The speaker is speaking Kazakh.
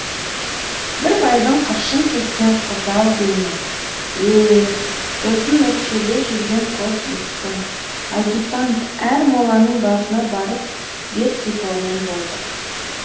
бір байдың қыршын кеткен қызы ау деймін еее досын өкшелей жүрген қос міскін адьютант әр моланың басына барып бет сипаумен болдық